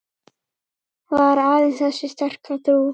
Var aðeins þessi sterka trú